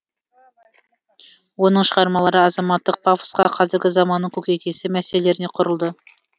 оның шығармалары азаматтық пафосқа қазіргі заманның көкейкесті мәселелеріне құрылды